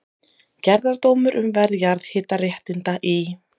Gerðardómur um verð jarðhitaréttinda í